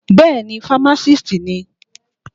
Bẹ́ẹ̀ni, fámásìst ni.